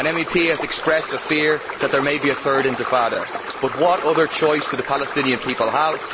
An MEP has expressed a fear that there may be a third intifada, but what other choice do the Palestinian people have?